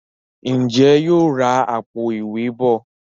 Njé yóò rá Àpò-ìwé bọ?